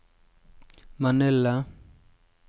Manila